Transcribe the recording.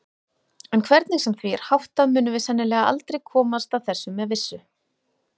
En hvernig sem því er háttað munum við sennilega aldrei komast að þessu með vissu.